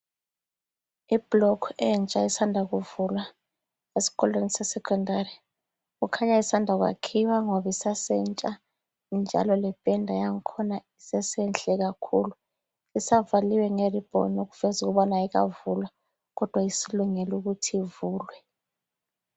Iblock entsha esanda kuvulwa esikolweni sesecondary. Kukhanya isanda kuyakhiwa ngoba isasentsha njalo lependa yangkhona isesenhle kakhulu. Isavaliwe ngeribbon okuveza ukubana ayikavulwa kodwa isilungele ukuthi ivulwe.